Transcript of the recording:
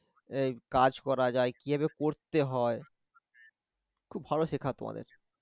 এই কাজ করা যায়? কিভাবে করতে হয়? খুব ভালোে সেখাতো আমাদের